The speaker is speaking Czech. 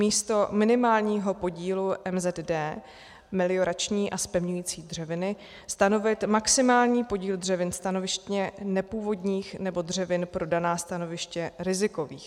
Místo minimálního podílu MZD - meliorační a zpevňující dřeviny - stanovit maximální podíl dřevin stanovištně nepůvodních nebo dřevin pro daná stanoviště rizikových.